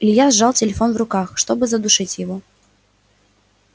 илья сжал телефон в руках чтобы задушить его